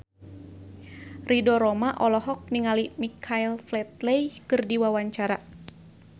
Ridho Roma olohok ningali Michael Flatley keur diwawancara